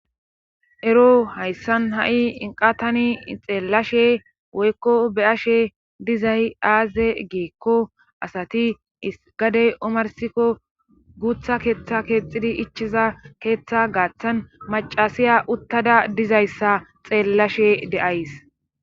ero hayssan ha7i tani xeellashe woykko be7ashe dizay aaze geekko asati isgadey omarsikko guutha keeththa keexxidi ichiza keeththa gaaththan macasiya uttada dizayssa xeellashe de'ays